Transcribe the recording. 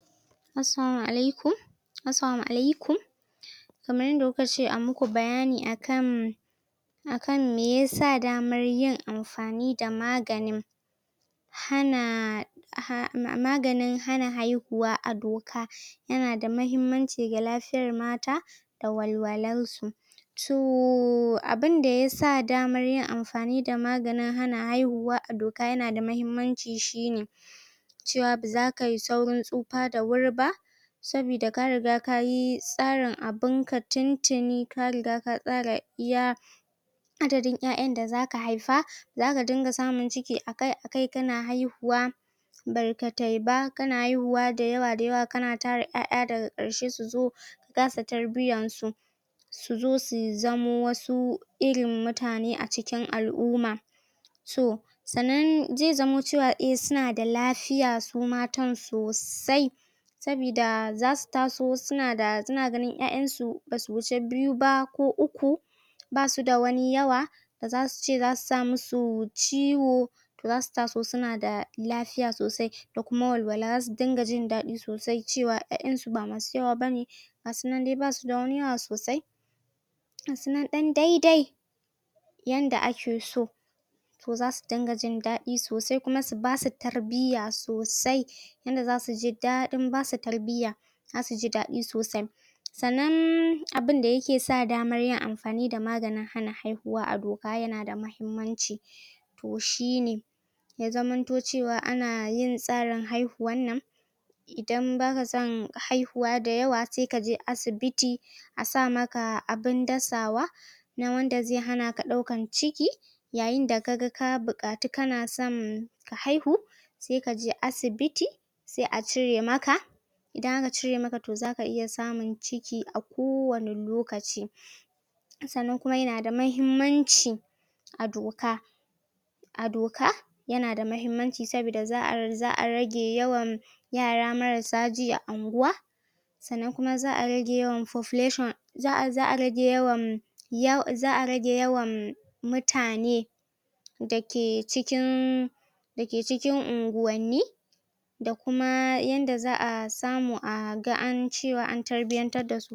Assalamu alaikum Assalamu alaikum Kamar yanda kuka ce a muku bayani akan, akan me yasa damar yin amfani da maganin hana, ha a ma maganin hana haihuwa a doka ya na da mahimmanci ga lafiyar mata da wal-walar su. To abun da ya sa damar yin amfani da maganin hana haihuwa a doka ya na da mahimmanci shi ne; Cewa ba za ka yi saurin tsufa da wuri ba. Sabida ka riga kayi tsarin abunka tun-tuni ka riga ka tsara iya adadin ƴaƴan da za ka haifa. Za ka dinga samun ciki akai-akai ka na haihuwa, barkatai ba, ka na hihuwa da yawa da yawa ka na tara ƴaƴa daga ƙarshe su zo ka kasa tarbiyan su. Su zo su zama wasu irin mutane a cikin al'umma. To sannan zai zamo cewa eh su na da lafiya su matan sosai. Sabida za su taso su na da, su na ganin ƴaƴan su ba su wuce biyu ba ko uku, ba suda wani yawa. Ba za su ce za su sa musu ciwo, za su taso su na da lafiya sosai da kuma wal-wala. Za su dinga ji daɗin sosai cewa ƴaƴan su ba masu yawa bane. Ga su nan dai, ba su da wani yawa sosai. Ga su nan ɗan dai-dai yanda ake so. To za su dinga jin daɗi sosai, kuma su basu tarbiyya sosai. Yanda za su ji daɗin basu tarbiyya, za su ji daɗin sosai. Sannan abunda ya ke sa damar yin amfani da maganin hana haihuwa a doka ya na da mahimmanci, to shi ne; Ya zamanto cewa ana yin tsarin haihuwan nan idan ba ka son haihuwa da yawa sai kaje asibiti, a sa maka abun dasawa, na wanda zai hana ka ɗaukan ciki. Yayin da ka ga ka buƙatu ka na son ka haihu sai kaje asibiti sai a cire maka. Idan aka cire maka to za ka iya samun ciki kowane lokaci. Sannan kuma ya na da mahimmanci a doka, a doka ya na da mahimmanci, sabida za'a, za'a rage yawan yara marasa ji a anguwa. Sannan kuma za'a rage yawan population. Za'a, za'a rage yawan, ya za'a rage yawan mutane da ke cikin da ke cikin unguwanni, da kuma yanda za'a samu a ga an cewa an tarbiyyantar dasu.